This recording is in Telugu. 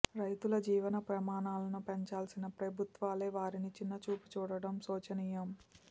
రైతుల జీవన ప్రమాణాలను పెంచాల్సిన ప్రభుత్వాలే వారిని చిన్నచూపు చూడడం శోచనీయం